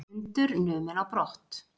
Hundur numinn á brott